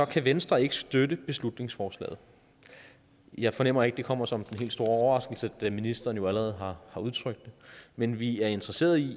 kan venstre ikke støtte beslutningsforslaget jeg fornemmer ikke at det kommer som den helt store overraskelse da ministeren jo allerede har udtrykt det men vi er interesserede i